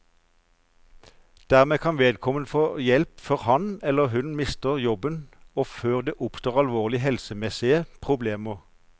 Dermed kan vedkommende få hjelp før han, eller hun, mister jobben og før det oppstår alvorlige helsemessige problemer.